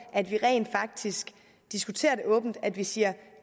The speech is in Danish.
at vi rent faktisk diskuterer det åbent og at vi siger